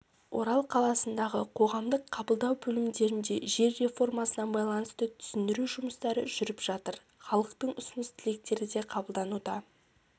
орал қаласындағы қоғамдық қабылдау бөлімдерінде жер реформасына байланысты түсіндіру жұмыстары жүріп жатыр халықтың ұсыныс-тілектері де қабылдануда